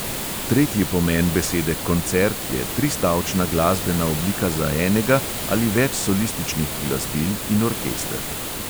Tretji pomen besede "koncert" je tristavčna glasbena oblika za enega ali več solističnih glasbil in orkester.